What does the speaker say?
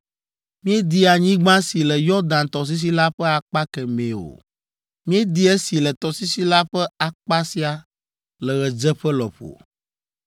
Míedi anyigba si le Yɔdan tɔsisi la ƒe akpa kemɛ o; míedi esi le tɔsisi la ƒe akpa sia, le ɣedzeƒe lɔƒo.”